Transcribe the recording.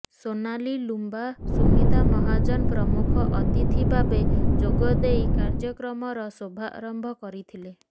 ସୋନାଲି ଲୁମ୍ବା ସୁମିତା ମହାଜନ ପ୍ରମୁଖ ଅତିଥି ଭାବେ ଯୋଗଦେଇ କାର୍ଯ୍ୟକ୍ରମର ଶୁଭାରମ୍ଭ କରିଥିଲେ